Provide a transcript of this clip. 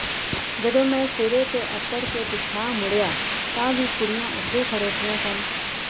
ਜਦੋਂ ਮੈਂ ਸਿਰੇ ਤੇ ਅਪੜ ਕੇ ਪਿਛਾਂਹ ਮੁੜਿਆ ਤਾਂ ਵੀ ਕੁੜੀਆਂ ਉਥੇ ਹੀ ਖੜੋਤੀਆਂ ਸਨ